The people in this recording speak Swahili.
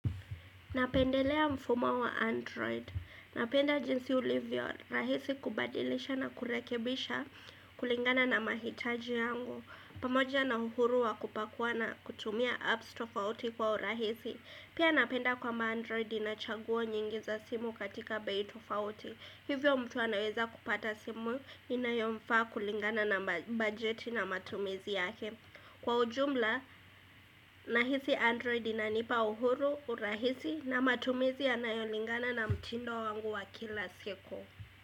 Napendelea mfumo wa Android. Napenda jinsi ulivyo rahisi kubadilisha na kurekebisha kulingana na mahitaji yangu. Pamoja na uhuru wa kupakuwa na kutumia apps tofauti kwa urahisi. Pia napenda kwamba Android inachaguo nyingi za simu katika bei tofauti. Hivyo mtu anaweza kupata simu inayomfaa kulingana na bajeti na matumizi yake. Kwa ujumla nahisi android inanipa uhuru, urahisi na matumizi yanayolingana na mtindo wangu wa kila siku.